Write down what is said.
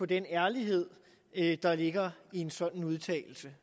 den ærlighed der ligger i en sådan udtalelse